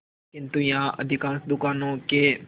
किंतु यहाँ अधिकांश दुकानों के